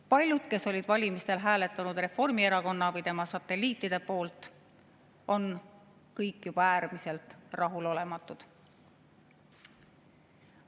Paljud, kes olid valimistel hääletanud Reformierakonna või tema satelliitide poolt, on äärmiselt rahulolematud.